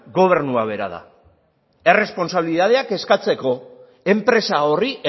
gobernua bera da erresponsabilitateak eskatzeko enpresa horri